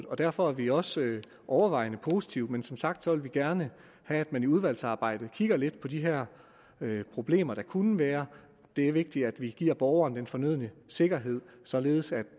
og derfor er vi også overvejende positive men som sagt vil vi gerne have at man i udvalgsarbejdet kigger lidt på de her problemer der kunne være det er vigtigt at vi giver borgeren den fornødne sikkerhed således at